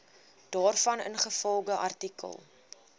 daarvan ingevolge artikel